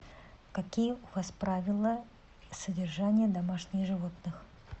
какие у вас правила содержания домашних животных